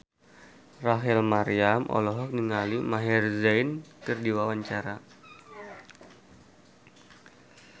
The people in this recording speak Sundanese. Rachel Maryam olohok ningali Maher Zein keur diwawancara